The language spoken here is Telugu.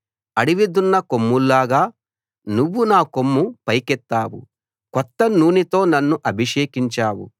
అడవి దున్న కొమ్ముల్లాగా నువ్వు నా కొమ్ము పైకెత్తావు కొత్త నూనెతో నన్ను అభిషేకించావు